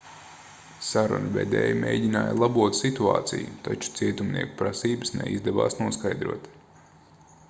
sarunu vedēji mēģināja labot situāciju taču cietumnieku prasības neizdevās noskaidrot